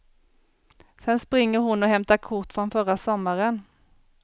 Sen springer hon och hämtar kort från förra sommaren.